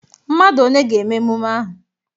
Mmadụ one ga-eme emume ahụ?